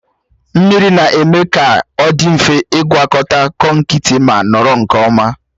Mmiri na-eme ka ọ dị mfe ịgwọkọta konkịtị ma nọrọ nke ọma.